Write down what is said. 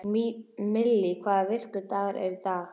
Millý, hvaða vikudagur er í dag?